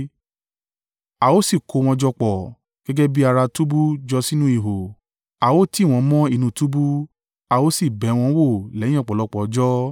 A ó sì kó wọn jọ pọ̀, gẹ́gẹ́ bí ará túbú jọ sínú ihò, a ó tì wọ́n mọ́ inú túbú, a ó sì bẹ̀ wọ́n wò lẹ́yìn ọ̀pọ̀lọpọ̀ ọjọ́.